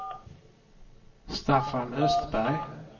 Staffan Östberg